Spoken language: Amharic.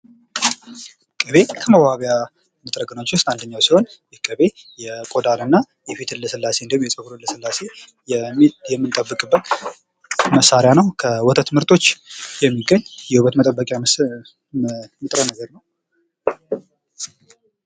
ቅቤ ከመዋቢያ ንጥረ ነገሮች ውስጥ አንደኛው ሲሆን ቅቤ የቆዳንና የፊትን ልስላሴ እንዲሁም የፀጉርን ለስላሴ የምንጠብቅበት መሳሪያ ነው:: ከወተት ምርቶች የሚገኝ የውበት የመጠበቂያ ንጥረ ነገር ነው::